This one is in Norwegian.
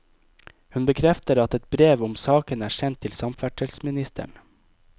Hun bekrefter at et brev om saken er sendt til samferdselsministeren.